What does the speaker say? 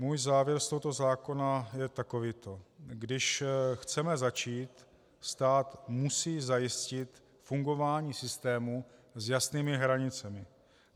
Můj závěr z tohoto zákona je takovýto: Když chceme začít, stát musí zajistit fungování systému s jasnými hranicemi.